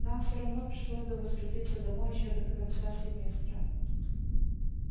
нам всё равно пришлось бы возвратиться домой ещё до конца семестра